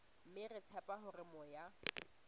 mme re tshepa hore moya